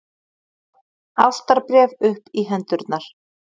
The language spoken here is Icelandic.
ástarbréf upp í hendurnar!